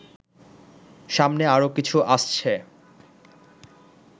সামনে আরো কিছু আসছে